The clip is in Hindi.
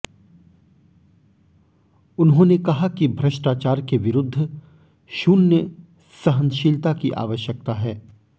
उन्होंने कहा कि भ्रष्टाचार के विरूद्ध शून्य सहनशीलता की आवश्यकता है